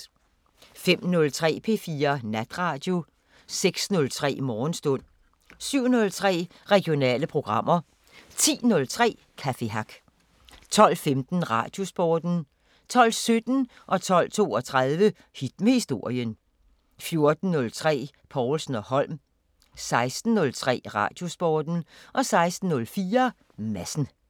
05:03: P4 Natradio 06:03: Morgenstund 07:03: Regionale programmer 10:03: Café Hack 12:15: Radiosporten 12:17: Hit med historien 12:32: Hit med historien 14:03: Povlsen & Holm 16:03: Radiosporten 16:04: Madsen